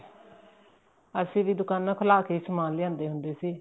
ਅਸੀਂ ਵੀ ਦੁਕਾਨਾ ਖੁਲਾਕੇ ਸਮਾਨ ਲਿਆਦੇ ਹੁੰਦੇ ਸੀ